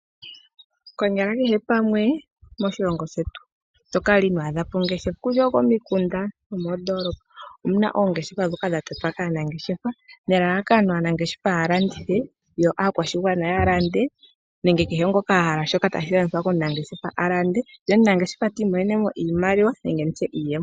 Konyala kehe pamwe moshilongo shetu, ito kala inwaa dhapo ongeshefa kutya okomikunda omondoolopa ,omuna oongeshefa dhoka dha totwa kaanangeshefa nelalakano aanangeshefa ya landithe, yo aakwashigwana ya lande nenge kehe ngoka a hala shoka tashi landithwa komunangeshefa a lande, ye omunangeshefa tii monene mo iimaliwa nenge nditye iiyemo.